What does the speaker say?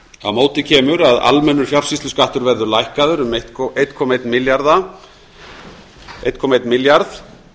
á móti kemur að almennur fjársýsluskattur verður lækkaður um eitt komma eitt milljarð